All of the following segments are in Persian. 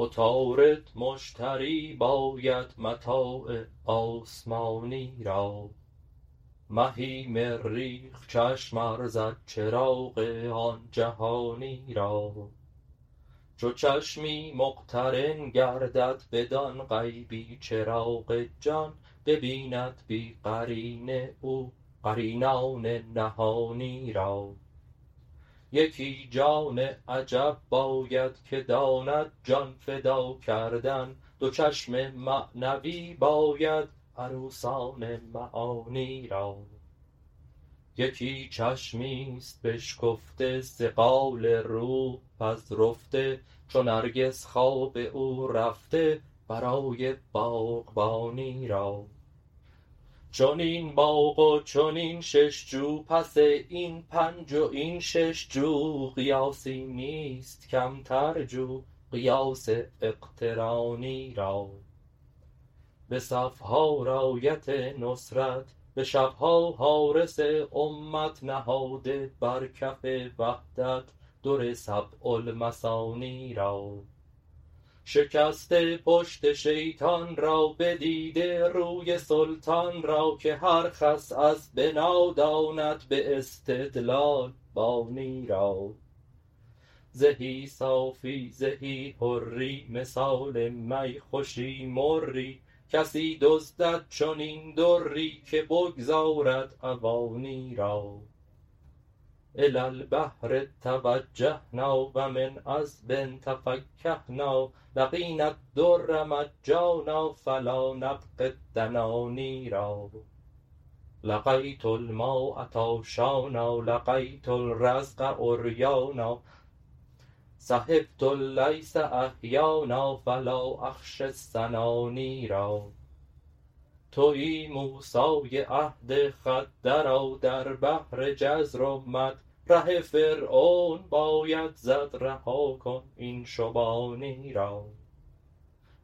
عطارد مشتری باید متاع آسمانی را مهی مریخ چشم ارزد چراغ آن جهانی را چو چشمی مقترن گردد بدان غیبی چراغ جان ببیند بی قرینه او قرینان نهانی را یکی جان عجب باید که داند جان فدا کردن دو چشم معنوی باید عروسان معانی را یکی چشمی ست بشکفته صقال روح پذرفته چو نرگس خواب او رفته برای باغبانی را چنین باغ و چنین شش جو پس این پنج و این شش جو قیاسی نیست کمتر جو قیاس اقترانی را به صف ها رأیت نصرت به شب ها حارس امت نهاده بر کف وحدت در سبع المثانی را شکسته پشت شیطان را بدیده روی سلطان را که هر خس از بنا داند به استدلال بانی را زهی صافی زهی حری مثال می خوشی مری کسی دزدد چنین دری که بگذارد عوانی را إلى البحر توجهنا و من عذب تفکهنا لقينا الدر مجانا فلا نبغي الدناني را لقيت الماء عطشانا لقيت الرزق عريانا صحبت الليث أحيانا فلا أخشى السناني را توی موسی عهد خود درآ در بحر جزر و مد ره فرعون باید زد رها کن این شبانی را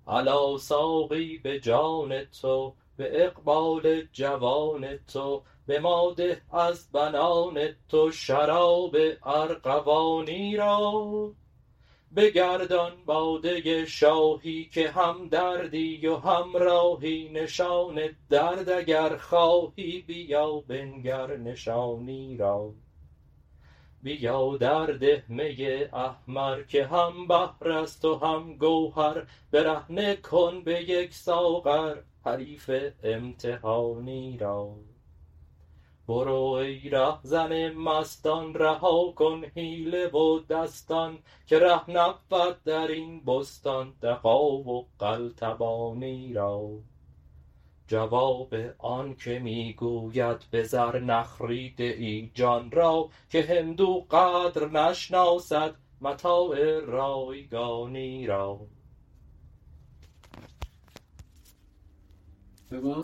الا ساقی به جان تو به اقبال جوان تو به ما ده از بنان تو شراب ارغوانی را بگردان باده شاهی که همدردی و همراهی نشان درد اگر خواهی بیا بنگر نشانی را بیا درده می احمر که هم بحر است و هم گوهر برهنه کن به یک ساغر حریف امتحانی را برو ای رهزن مستان رها کن حیله و دستان که ره نبود در این بستان دغا و قلتبانی را جواب آنک می گوید به زر نخریده ای جان را که هندو قدر نشناسد متاع رایگانی را